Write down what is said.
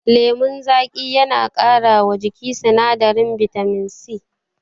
Lemon zaƙi yana ƙara wa jiki sinadarin bitamin C